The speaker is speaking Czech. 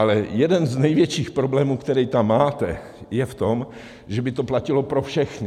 Ale jeden z největších problémů, který tam máte, je v tom, že by to platilo pro všechny.